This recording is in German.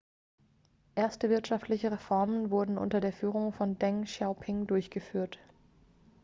erste wirtschaftliche reformen wurden unter der führung von deng xiaoping durchgeführt